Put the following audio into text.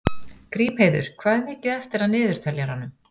Grímheiður, hvað er mikið eftir af niðurteljaranum?